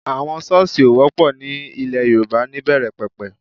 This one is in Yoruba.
Àwọn Ṣọ́ọ̀sì ò wọ́pọ̀ ní ilẹ̀ Yorùbá níbẹ̀rẹ̀ pẹ̀pẹ̀